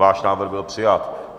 Váš návrh byl přijat.